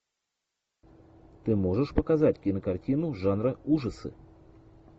ты можешь показать кинокартину жанра ужасы